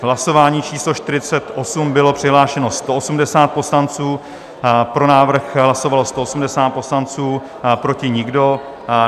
V hlasování číslo 48 bylo přihlášeno 180 poslanců, pro návrh hlasovalo 180 poslanců, proti nikdo.